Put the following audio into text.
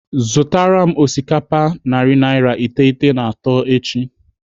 Zụtara m osikapa narị naira iteghete na atọ echi.